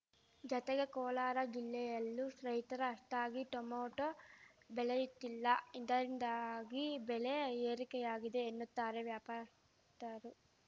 ಜತೆಗೆ ಕೋಲಾರ ಜಿಲ್ಲೆಯಲ್ಲೂ ರೈತರು ಅಷ್ಟಾಗಿ ಟೊಮೆಟೋ ಬೆಳೆಯುತ್ತಿಲ್ಲ ಇದರಿಂದಾಗಿ ಬೆಲೆ ಏರಿಕೆಯಾಗಿದೆ ಎನ್ನುತ್ತಾರೆ ವ್ಯಾಪಾರತ್ತರು